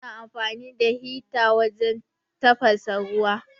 Muna amfani da hita wajen tafasa ruwa.